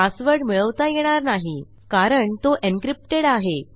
password मिळवता येणार नाही कारण तो एन्क्रिप्टेड आहे